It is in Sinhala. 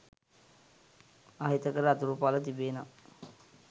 අහිතකර අතුරුඵල තිබේනම්?